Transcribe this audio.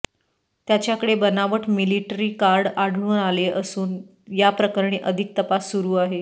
त्याच्याकडे बनावट military card आढळून आले असून या प्रकरणी अधिक तपास सुरू आहे